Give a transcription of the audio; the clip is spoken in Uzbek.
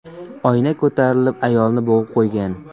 Oyna ko‘tarilib ayolni bo‘g‘ib qo‘ygan.